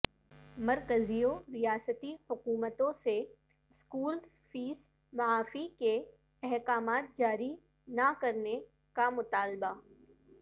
مرکزی و ریاستی حکومتوں سے اسکولس فیس معافی کے احکامات جاری نہ کرنے کا مطالبہ